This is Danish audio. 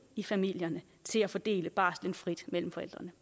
i familierne til at fordele barslen frit mellem forældrene